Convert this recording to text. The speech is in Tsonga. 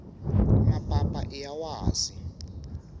mapapa iya wasi